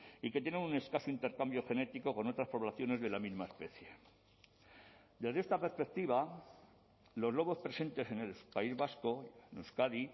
y que tienen un escaso intercambio genético con otras poblaciones de la misma especie desde esta perspectiva los lobos presentes en el país vasco en euskadi